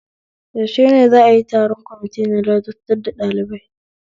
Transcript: Yaushe ne za'a yi taron kwamiti na ladabtar da ɗalibai?